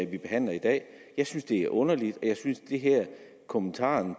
vi behandler i dag jeg synes det er underligt og kommentaren